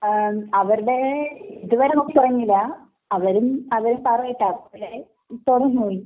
ങാ...അവരുടെ ഇതുവരെ നോക്കിത്തുടങ്ങിയില്ല....അവരും.